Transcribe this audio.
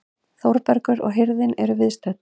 Þórbergur og hirðin eru viðstödd.